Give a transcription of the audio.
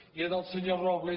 i al senyor robles